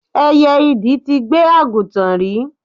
Ẹyẹ idì ti gbé àgùntàn rí.